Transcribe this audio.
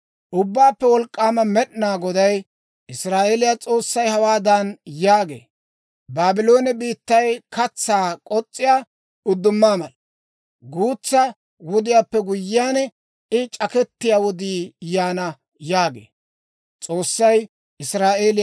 Ubbaappe Wolk'k'aama Med'inaa Goday, Israa'eeliyaa S'oossay hawaadan yaagee; «Baabloone biittay katsaa k'os's'iyaa uddumaa mala; guutsa wodiyaappe guyyiyaan, I c'akettiyaa wodii yaana» yaagee.